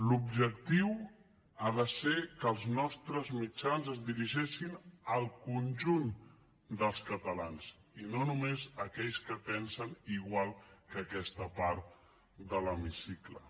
l’objectiu ha de ser que els nostres mitjans es dirigeixin al conjunt dels catalans i no només a aquells que pensen igual que aquesta part de l’hemicicle